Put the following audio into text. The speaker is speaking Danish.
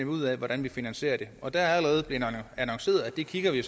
ud af hvordan vi finansierer det og det er allerede blevet annonceret at det kigger vi